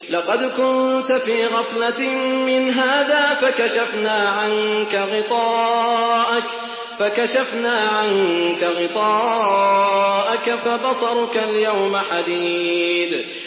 لَّقَدْ كُنتَ فِي غَفْلَةٍ مِّنْ هَٰذَا فَكَشَفْنَا عَنكَ غِطَاءَكَ فَبَصَرُكَ الْيَوْمَ حَدِيدٌ